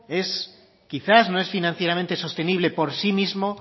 quizás no es financieramente sostenible por sí mismo